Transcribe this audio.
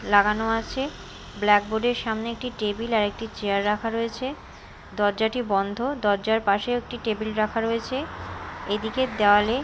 লাগানো আছে ব্ল্যাকবোর্ড -এর সামনে একটি টেবিল আর একটি চেয়ার রাখা রয়েছে দরজাটি বন্ধ দরজার পাশেও একটি টেবিল রাখা রয়েছে এদিকের দেওয়ালে--